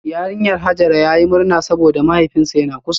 Yarinyar Hajara yayi murna saboda mahaifinsa yana kusa